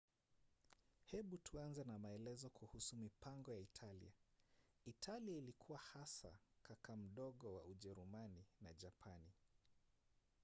hebu tuanze na maelezo kuhusu mipango ya italia. italia ilikuwa hasa kaka mdogo” wa ujerumani na japani